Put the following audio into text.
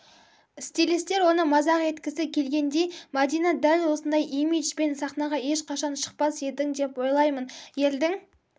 стилистер оны мазақ еткісі келгендей мадина дәл осындай имиджбен сахнаға ешқашан шықпас едің деп ойлаймын елдің